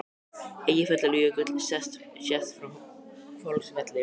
Eyjafjallajökull sést frá Hvolsvelli.